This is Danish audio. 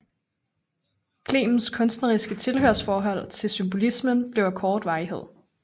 Clements kunstneriske tilhørsforhold til symbolismen blev af kort varighed